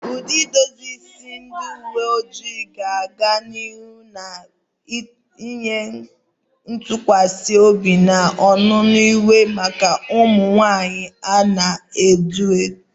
Ụdị edozi isi ndị uwe ojii ga-aga n'ihu na-enye ntụkwasị obi na ọnụnọ iwu maka ụmụ nwanyị na-edu ndú.